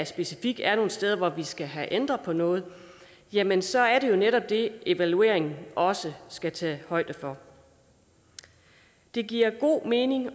specifikt er nogle steder hvor vi skal have ændret på noget jamen så er det jo netop det evalueringen også skal tage højde for det giver god mening